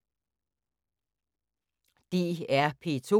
DR P2